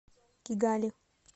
кигали